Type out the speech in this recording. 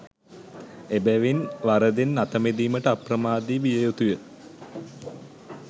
එබැවින් වරදෙන් අත මිදීමට අප්‍රමාදී විය යුතුය.